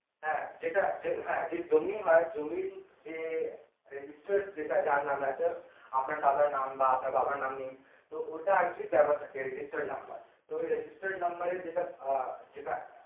হ্যাঁ যেটা হ্যাঁ যেটা জমি হয় জমির যে registered যার নামে আছে আপনার দাদার নাম বাঃ আপনার বাবার নামে তো ওটা actually দেওয়া থাকে registered number তো ওই registered number এ আহ যেটা আহ